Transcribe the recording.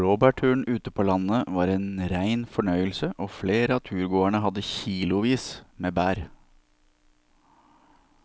Blåbærturen ute på landet var en rein fornøyelse og flere av turgåerene hadde kilosvis med bær.